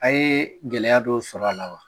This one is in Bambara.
A ye gɛlɛya dɔ sɔrɔ a la wa